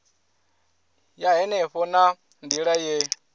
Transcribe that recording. ya henefho na nila ye